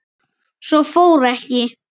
Svo fór ekki.